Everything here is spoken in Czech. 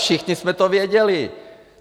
Všichni jsme to věděli.